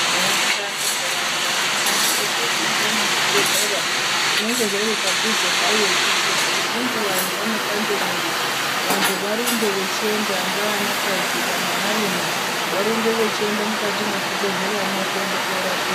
Ndaraunda ngendaraunda inosisire kunge ine chibhedhlera zvinenge zviri padhuze payo kuitira kuti ngenguva yavanopande mwiri vantu varumbe vachienda ngeanakadzi kana anarume, varumbe vachienda mukati mwezvibhedhleramwo korapiwa.